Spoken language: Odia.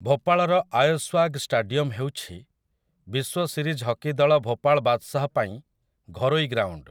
ଭୋପାଳର ଆୟଶ୍ୱାଗ୍ ଷ୍ଟାଡିୟମ୍‌ ହେଉଛି ବିଶ୍ୱ ସିରିଜ୍ ହକି ଦଳ ଭୋପାଳ ବାଦ୍‌ଶାହ୍ ପାଇଁ ଘରୋଇ ଗ୍ରାଉଣ୍ଡ ।